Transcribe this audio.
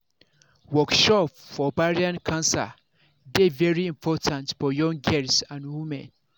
workshop for ovarian cancer dey very important for young girls and women